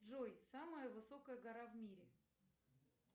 джой самая высокая гора в мире